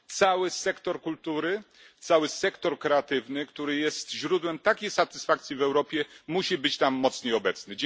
Cały sektor kultury, cały sektor kreatywny, który jest źródłem takiej satysfakcji w Europie, musi być tam mocniej obecny.